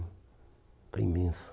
Está imensa.